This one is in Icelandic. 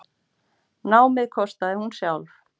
Námið kostaði hún sjálf.